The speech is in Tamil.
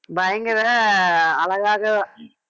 பயங்கர அழகாக